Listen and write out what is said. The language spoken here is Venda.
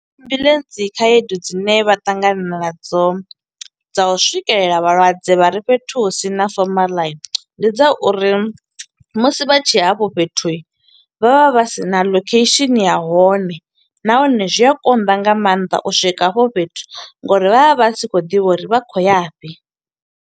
Ambuḽentsi khaedu dzine vha ṱangana na dzo dza u swikelela vhalwadze vha re fhethu hu sina fomaḽa, ndi dza uri musi vha tshe hafho fhethu, vha vha vha sina location ya hone. Nahone zwi a konḓa nga maanḓa u swika hafho fhethu, ngo uri vha vha vha si khou ḓivha uri vha khou ya fhi.